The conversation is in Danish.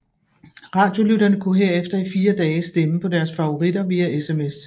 Radiolytterne kunne herefter i fire dage stemme på deres favoritter via sms